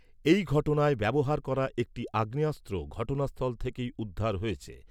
এই ঘটনায় ব্যবহার করা একটি আগ্নেয়াস্ত্র ঘটনাস্থল থেকেই উদ্ধার হয়েছে।